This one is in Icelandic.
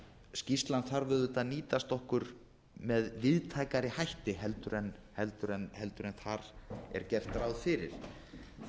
skýrslan þarf auðvitað að nýtast okkur með víðtækari hætti heldur en þar er gert ráð fyrir því að eðli